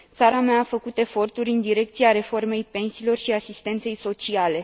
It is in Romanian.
Țara mea a făcut eforturi în direcția reformei pensiilor și asistenței sociale.